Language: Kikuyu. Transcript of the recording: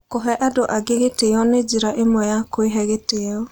Kũhe andũ angĩ gĩtĩo nĩ njĩra ĩmwe ya kwĩhe gĩtĩo.